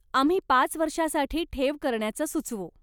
आम्ही पाच वर्षासाठी ठेव करण्याचं सुचवू.